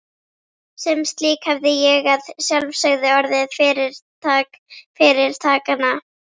Sem slík hefði ég að sjálfsögðu orðið fyrirtak fyrirtakanna.